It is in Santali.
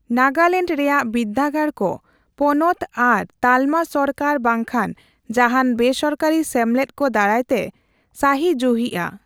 ᱱᱟᱜᱟᱞᱮᱸᱱᱰ ᱨᱮᱭᱟᱜ ᱵᱤᱨᱫᱟᱹᱜᱟᱲ ᱠᱚ ᱯᱚᱱᱚᱛ ᱟᱨ ᱛᱟᱞᱢᱟ ᱥᱚᱨᱠᱟᱨ ᱵᱟᱝᱠᱷᱟᱱ ᱡᱟᱦᱟᱱ ᱵᱮᱥᱚᱨᱠᱟᱹᱨᱤ ᱥᱮᱢᱞᱮᱫ ᱠᱚ ᱫᱟᱨᱟᱭᱛᱮ ᱥᱟᱹᱦᱤᱡᱩᱦᱤᱜᱼᱟ ᱾